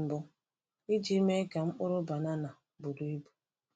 mbụ iji mee ka mkpụrụ banana buru ibu.